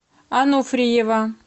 ануфриева